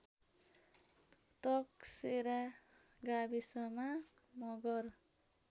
तकसेरा गाविसमा मगर